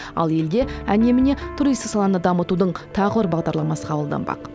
ал елде әне міне туристік саланы дамытудың тағы бір бағдарламасы қабылданбақ